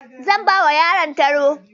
Zan bawa yaron taro.